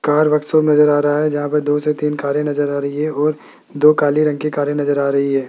Car workshop नजर आ रहा है जहां पर दो से तीन कारे नजर आ रही है और दो काले रंग के कारे नजर आ रही है।